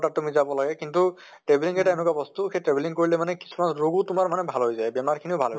ত তুমি যাব লাগে কিন্তু travelling এটা এনেকুৱা বস্তু সেই travelling কৰিলে মানে কিছুমান ৰোগো মানে তোমাৰ ভাল হৈ যায়। বেমাৰ খিনিও ভাল হয়